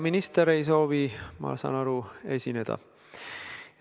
Minister ei soovi, ma saan aru, esineda?